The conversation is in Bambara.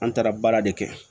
An taara baara de kɛ